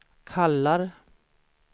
kallar